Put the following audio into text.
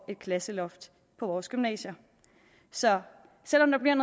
et klasseloft på vores gymnasier så selv om der bliver